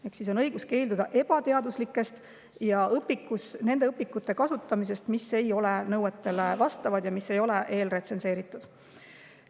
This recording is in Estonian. Ehk siis on õigus keelduda ebateaduslike õpikute kasutamisest, mis ei vasta nõuetele ja ei ole eelretsenseeritud.